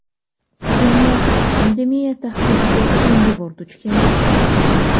Dunyo pandemiya tahdidiga so‘nggi bor duch kelmayapti.